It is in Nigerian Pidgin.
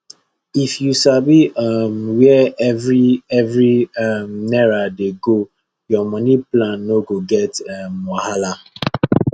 if you sabi um where every every um naira dey go your money plan no go get um wahala